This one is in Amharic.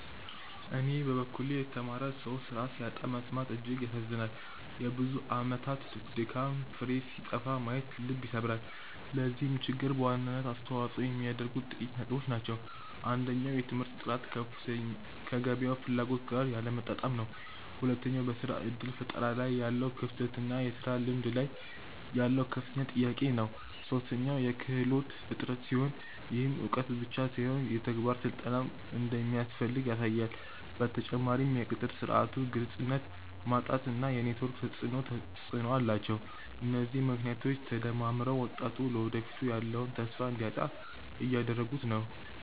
በኔ በኩል የተማረ ሰው ስራ ሲያጣ መሰማት እጅግ ያሳዝናል የብዙ አመታት ድካም ፍሬ ሲጠፋ ማየት ልብ ይሰብራል። ለዚህ ችግር በዋናነት አስተዋጽኦ የሚያደርጉት ጥቂት ነጥቦች ናቸው። አንደኛው የትምህርት ጥራት ከገበያው ፍላጎት ጋር ያለመጣጣም ነው። ሁለተኛው በስራ እድል ፈጠራ ላይ ያለው ክፍተት እና የስራ ልምድ ላይ ያለው ከፍተኛ ጥያቄ ነው። ሶስተኛው የክህሎት እጥረት ሲሆን፣ ይህም እውቀት ብቻ ሳይሆን የተግባር ስልጠናም እንደሚያስፈልግ ያሳያል። በተጨማሪም የቅጥር ስርዓቱ ግልጽነት ማጣት እና የኔትወርክ ተፅእኖ ተፅእኖ አላቸው። እነዚህ ምክንያቶች ተደማምረው ወጣቱ ለወደፊቱ ያለውን ተስፋ እንዲያጣ እያደረጉት ነው።